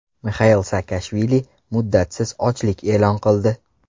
Mixail Saakashvili muddatsiz ochlik e’lon qildi.